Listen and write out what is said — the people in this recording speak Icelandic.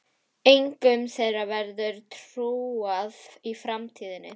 Engum þeirra verður trúað í framtíðinni.